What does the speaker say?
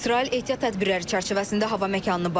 İsrail ehtiyat tədbirləri çərçivəsində hava məkanını bağlayıb.